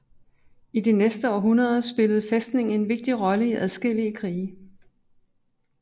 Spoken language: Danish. I de næste århundreder spillede fæstningen en vigtig rolle i adskillige krige